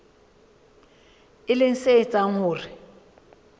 e leng se etsang hore